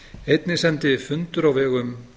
einnig sendi fundur á vegum